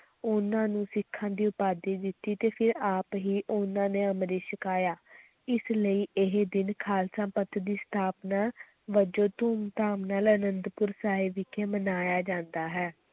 ਉਨ੍ਹਾਂ ਨੂੰ ਸਿੱਖਾਂ ਦੀ ਉਪਾਧੀ ਦਿੱਤੀ ਤੇ ਫਿਰ ਆਪ ਹੀ ਉਨ੍ਹਾਂ ਨੇ ਅੰਮ੍ਰਿਤ ਛਕਾਇਆ ਇਸ ਲਈ ਇਹ ਦਿਨ ਖ਼ਾਲਸਾ ਪੰਥ ਦੀ ਸਥਾਪਨਾ ਵਜੋਂ ਧੂਮ-ਧਾਮ ਨਾਲ ਅਨੰਦਪੁਰ ਸਾਹਿਬ ਵਿਖੇ ਮਨਾਇਆ ਜਾਂਦਾ ਹੈ।